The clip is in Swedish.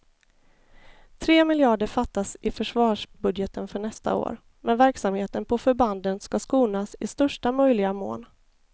Tre miljarder fattas i försvarsbudgeten för nästa år, men verksamheten på förbanden ska skonas i största möjliga mån.